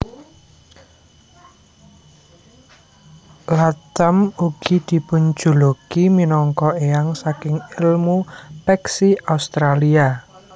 Latham ugi dipunjuluki minangka éyang saking èlmu peksi Australia